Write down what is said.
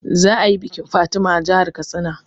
Za a yi bikin Fatima a jahar Katsina